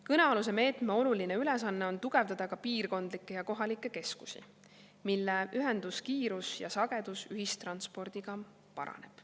Kõnealuse meetme oluline ülesanne on tugevdada ka piirkondlikke ja kohalikke keskusi, mille ühenduskiirus ja ‑sagedus ühistranspordiga paraneb.